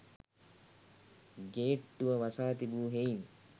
ගේට්ටුව වසා තිබූ හෙයින්